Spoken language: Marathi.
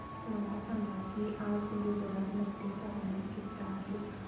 मला सांगा की आज गुजरात मध्ये तापमान किता आहे